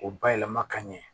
O bayɛlɛma ka ɲɛ